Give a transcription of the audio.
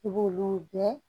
I b'olu bɛɛ